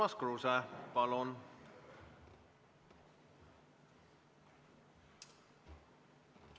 Urmas Kruuse, palun!